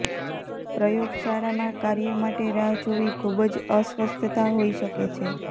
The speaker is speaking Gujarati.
પ્રયોગશાળામાં કાર્ય માટે રાહ જોવી ખૂબ જ અસ્વસ્થતા હોઈ શકે છે